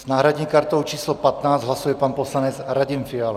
S náhradní kartou č. 15 hlasuje pan poslanec Radim Fiala.